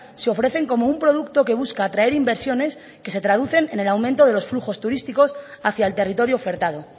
se ofrecen como un producto que busca atraer inversiones que se traducen en el aumento de los flujos turísticos hacia el territorio ofertado